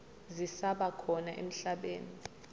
zisaba khona emhlabeni